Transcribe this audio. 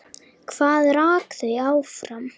Hvað rak þau áfram?